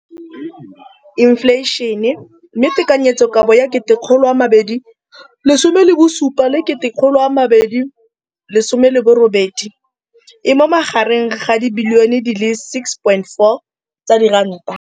Infleišene, mme tekanyetsokabo ya 2017, 18, e magareng ga R6.4 bilione.